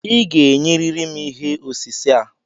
Ị ga-ényerịrị m ihé osise a